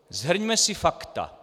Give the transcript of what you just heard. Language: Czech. Shrňme si fakta.